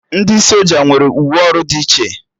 Ndị soja nwere uwe ọrụ dị iche